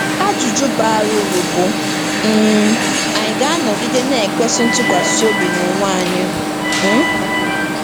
Ajụjụ bara uru bụ, um Ànyị ga-anọgide na-ekwesị ntụkwasị obi n'onwe anyị? um